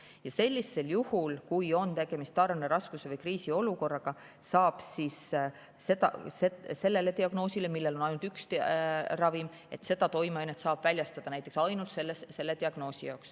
Ja sellisel juhul, kui on tegemist tarneraskuse või kriisiolukorraga, saab diagnoosi puhul, kui aitab ainult üks ravim, üks toimeaine, seda väljastada ainult selle diagnoosi korral.